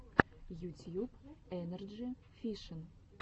ютьюб энерджи фишин